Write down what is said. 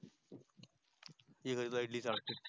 ये ग तुला इडली चरतो